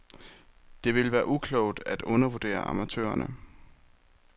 Det vil være uklogt at undervurdere amatørerne.